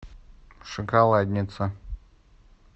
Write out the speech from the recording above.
шоколадница